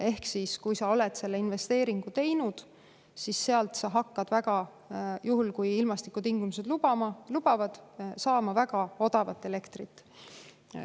Ehk siis, kui sa oled selle investeeringu teinud, siis sa hakkad sealt – juhul kui ilmastikutingimused lubavad – saama väga odavat elektrit.